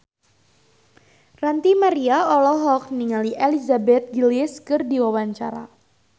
Ranty Maria olohok ningali Elizabeth Gillies keur diwawancara